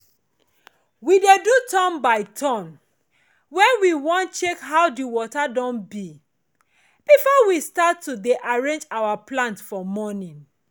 we dey do turn by turn when we wan check how di water don bi before we start to dey arrange our plant for morning